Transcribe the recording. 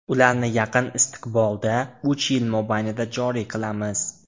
Ularni yaqin istiqbolda, uch yil mobaynida joriy qilamiz.